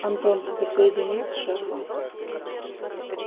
антон тебя соединить с шефом